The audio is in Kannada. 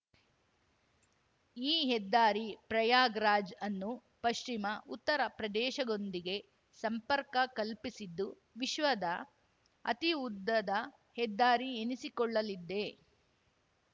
ಈ ಹೆದ್ದಾರಿ ಪ್ರಯಾಗ್‌ರಾಜ್‌ ಅನ್ನು ಪಶ್ಚಿಮ ಉತ್ತರ ಪ್ರದೇಶಗೊಂದಿಗೆ ಸಂಪರ್ಕ ಕಲ್ಪಿಸಿದ್ದು ವಿಶ್ವದ ಅತೀ ಉದ್ದದ ಹೆದ್ದಾರಿ ಎನಿಸಿಕೊಳ್ಳಲಿದ್ದೆ